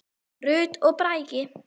Rut og Bragi.